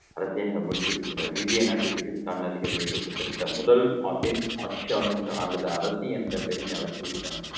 கடைசியாக முடிசூட்டிக்கொண்டார் இந்திய நாட்டின் பிரிட்டிஷ் முதல் நாட்டின் ஆட்சியாளர் மற்றும் அல்லது அரசு என்ற பெருமை அவருக்கு இருக்கணும்